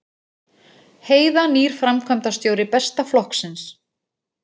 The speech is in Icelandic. Heiða nýr framkvæmdastjóri Besta flokksins